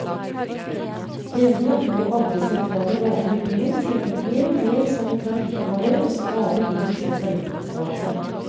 Denne, og andre sentrale gater i byen, tjente mer og mer som en trafikkåre og stadig mindre som forretningsgate.